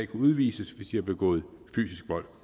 kan udvises hvis de har begået fysisk vold